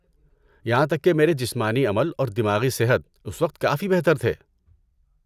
یہاں تک کہ میرے جسمانی عمل اور دماغی صحت اس وقت کافی بہتر تھے۔